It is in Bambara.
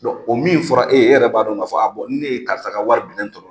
Bɔn o min fɔra, e ye e yɛrɛ b'a don k'a fɔ a bɔ ni ne ye karisa ka waribilen